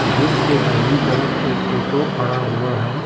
Gate के दाहिनी तरफ एक टोटो खड़ा हुआ है।